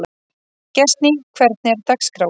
Gestný, hvernig er dagskráin?